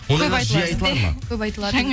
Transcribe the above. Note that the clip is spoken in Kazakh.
көп айтылады